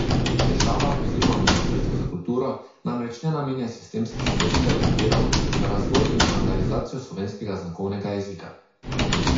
Država oziroma ministrstvo za kulturo namreč ne namenja sistemskih sredstev in virov za razvoj in standardizacijo slovenskega znakovnega jezika.